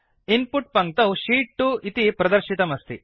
in put पङ्क्तौ sheet 2 इति प्रदर्शितमस्ति